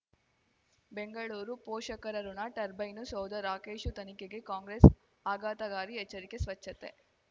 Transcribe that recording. ಬೆಂಗಳೂರು ಪೋಷಕರಋಣ ಟರ್ಬೈನು ಸೌಧ ರಾಕೇಶ್ ತನಿಖೆಗೆ ಕಾಂಗ್ರೆಸ್ ಆಘಾತಕಾರಿ ಎಚ್ಚರಿಕೆ ಸ್ವಚ್ಛತೆ